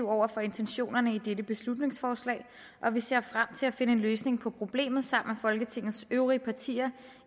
over for intentionerne i dette beslutningsforslag og vi ser frem til at finde en løsning på problemet sammen med folketingets øvrige partier